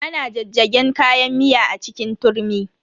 Ana jajjagen kayan miya a cikin turmi.